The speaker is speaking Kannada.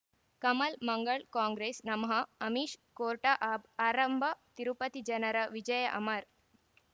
ಕಮಲ್ ಮಂಗಳ್ ಕಾಂಗ್ರೆಸ್ ನಮಃ ಅಮಿಷ್ ಕೋರ್ಟ್ ಆರಂಭ ತಿರುಪತಿ ಜನರ ವಿಜಯ ಅಮರ್